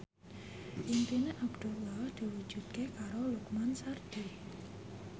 impine Abdullah diwujudke karo Lukman Sardi